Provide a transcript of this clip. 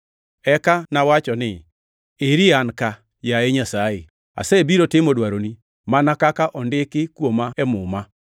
Eka nawacho ni, ‘Eri an ka, yaye Nyasaye, asebiro timo dwaroni, mana kaka ondiki kuoma e Muma.’ ”+ 10:7 \+xt Zab 40:6-8\+xt*